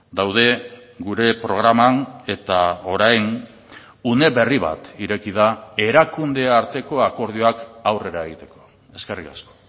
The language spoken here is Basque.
daude gure programan eta orain une berri bat ireki da erakunde arteko akordioak aurrera egiteko eskerrik asko